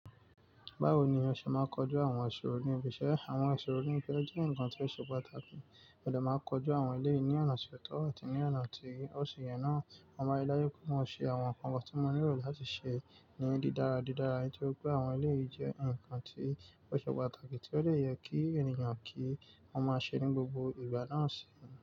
Báwo ni a ṣe máa ń kojú àwọn ìṣòro ní ibi iṣẹ́? Àwọn ìṣòro ní ibi iṣẹ́ jẹ́ ǹkan tí ó ṣe pàtàkì, mo de maa n kọjú àwọn ẹlẹ́yii ni ọ̀nà ti oto àti ní ọ̀nà tí ó ṣi yẹn náà. Mo maa ri dáju pe, mo ṣe àwọn ǹkan kan tí wọ́n nílò láti ṣe ní dídára dídára nítorí pé àwọn eléyìí jẹ́ ǹkan tí ó ṣe pàtàkì tí ó dè yẹ kí ènìyàn kí wọ́n máa ṣe ní gbogbo ìgbà náà sì ń ṣe.